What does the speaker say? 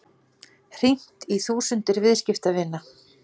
Hringt í þúsundir viðskiptavina